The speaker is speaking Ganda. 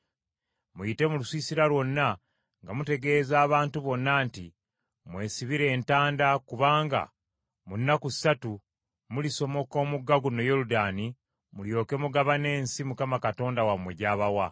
“Muyite mu lusiisira lwonna nga mutegeeza abantu bonna nti, ‘Mwesibire entanda kubanga mu nnaku ssatu mulisomoka omugga guno Yoludaani mulyoke mugabane ensi Mukama Katonda wammwe gy’abawa.’ ”